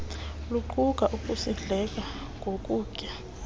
luquka ukusindleka ngokutya